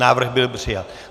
Návrh byl přijat.